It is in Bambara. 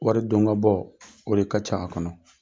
Wari don ka bɔ o de ka ca a kɔnɔ.